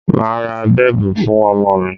Màá ra bèbí fún ọmọ mi.